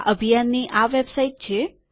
આ અભિયાનની આ વેબસાઈટ છે